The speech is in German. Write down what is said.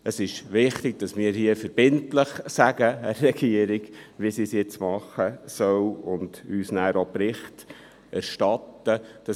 Es ist wichtig, dass wir hier der Regierung verbindlich sagen, wie sie es jetzt tun soll und dass sie uns nachher auch Bericht erstatten soll.